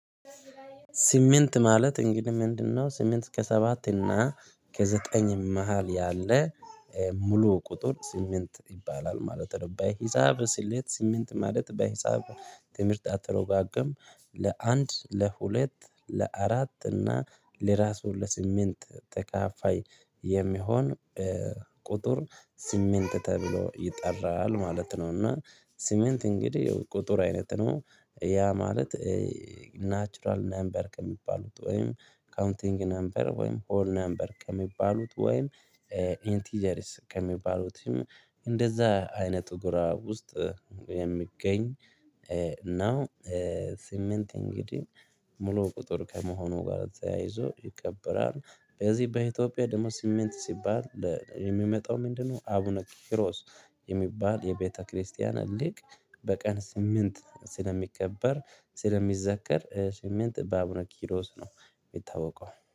ስምንት ማለት እንግዲህ ምንድነው? ስምንት ከሰባት እና ከዘጠኝ መሃል ያለ ሙሉ ቁጥር ስምንት ይባላል ማለት ነው። ባይ ሂሳብ ስሌት ስምንት ማለት በሂሳብ ትምህርት አተረጕጕም ለአንድ ለሁለት ለአራት እና ለራሱ ለስምንት ተከፋይ የሚሆን ቁጥር ስምንት ተብሎ ይጠራል ማለት ነው። እና ስምንት እንግዲህ ቁጥር አይነት ነው ያ ማለት ናቹራል ነበር ከሚባሉት ወይም ካውንቲንግ ነበር ወይም ሆል ነበር ከሚባሉት ወይም ኢንቲጀሪስ ከሚባሉትም እንደዛ አይነት ጎራ ውስጥ የሚገኝ ነው። ስምንት እንግዲህ ሙሉ ቁጥር ከመሆኑ ጋር ተያይዞ ይከበራል በዚህ በኢትዮጵያ ደግሞ ስሜት ሲባል የሚመጣው ምንድነው? አቡነ ቂሮስ የሚባል የቤተክርስቲያን ሊቅ በቀን ስምንት ስለሚከበር ስለሚዘከር ስምንት በአቡነ ኪሮስ ነው የሚታወቀው